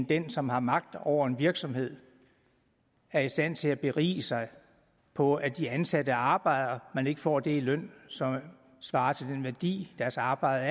den som har magt over en virksomhed er i stand til at berige sig på at de ansatte arbejder men ikke får det i løn som svarer til den værdi deres arbejde